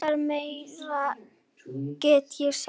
Hvað meira get ég sagt?